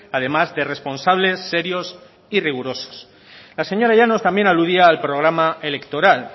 además de responsables serios y rigurosos la señora llanos también aludía al programa electoral